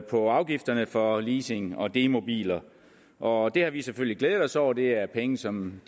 på afgifterne for leasing og demobiler og det har vi selvfølgelig glædet os over det er penge som